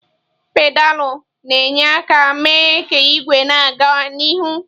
Pedalụ na-enye aka mee ka igwe na-aga n'ihu.